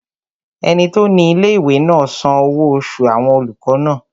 Ẹni tó ní ilé-ìwé náà san owó oṣù àwọn olùkọ́ náà